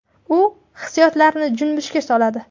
U hissiyotlarni junbishga soladi.